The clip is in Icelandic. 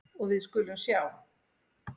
Og við skulum sjá.